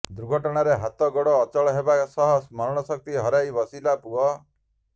ଦୁର୍ଘଣାରେ ହାତ ଗୋଡ ଅଚଳ ହେବା ସହ ସ୍ମରଣ ଶକ୍ତି ହରାଇ ବସିଲା ପୁଅ